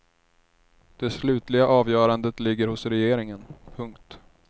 Det slutliga avgörandet ligger hos regeringen. punkt